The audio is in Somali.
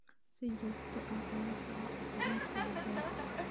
Si joogto ah ula soco caafimaadka digaagga.